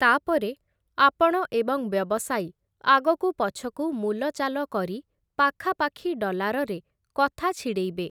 ତା'ପରେ, ଆପଣ ଏବଂ ବ୍ୟବସାୟୀ ଆଗକୁ ପଛକୁ ମୂଲଚାଲ କରି ପାଖାପାଖି ଡଲାରରେ କଥା ଛିଡ଼େଇବେ ।